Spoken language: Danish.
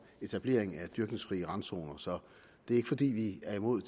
etablering af dyrkningsfrie randzoner så det er ikke fordi vi er imod